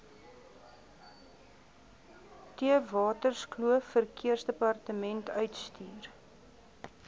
theewaterskloof verkeersdepartement uitstuur